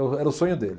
O era o sonho dele.